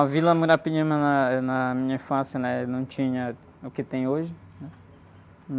A Vila Muirapinima na, eh, na minha infância, né? Não tinha o que tem hoje.